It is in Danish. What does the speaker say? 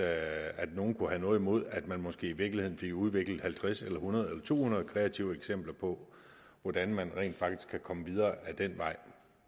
at nogen kunne have noget imod at man måske i virkeligheden fik udviklet halvtreds hundrede eller to hundrede kreative eksempler på hvordan man rent faktisk kan komme videre ad den vej